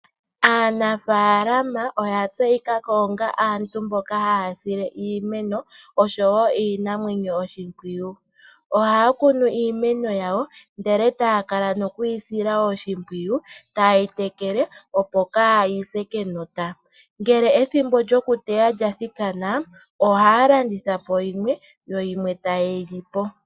Aanafalama oya tseyi kako ongaa aantu mboka haya sile iimeno oshowo iinamwenyo oshimpwiyu. Ohaya kunu iimeno yawo ndele taya kala nokuyi sila oshimpwiyu taye yi tekele, opo kaayise kenota. Ngele ethimbo lyokuteya lya thikana ohaya landitha Po yimwe, yo yimwe taye yi lipo.